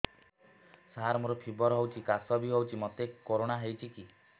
ସାର ମୋର ଫିବର ହଉଚି ଖାସ ବି ହଉଚି ମୋତେ କରୋନା ହେଇଚି କି